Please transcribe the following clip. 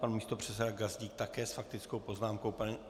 Pan místopředseda Gazdík také s faktickou poznámkou.